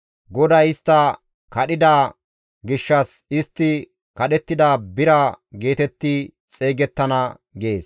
GODAY istta kadhida gishshas istti kadhettida bira geetetti xeygettana» gees.